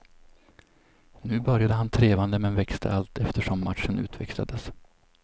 Nu började han trevande men växte allt eftersom matchen utvecklades.